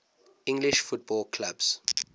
english football clubs